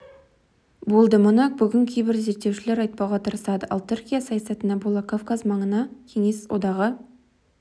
болды мұны бүгін кейбір зерттеушілер айтпауға тырысады ал түркия саясатына бола кавказ маңында кеңес одағы